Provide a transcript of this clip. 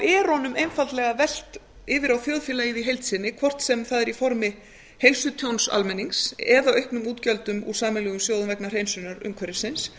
er honum einfaldlega velt yfir á þjóðfélagið í heild sinni hvort sem það er í formi heilsutjóns almennings eða auknum útgjöldum úr sameiginlegum sjóðum vegna hreinsunar umhverfisins